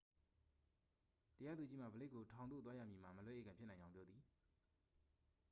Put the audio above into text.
တရားသူကြီးမှ ဘလိက်ခ်ကို ထောင်သို့သွားရမည်မှာ မလွဲဧကန်ဖြစ်နိုင်ကြောင်း ပြောသည်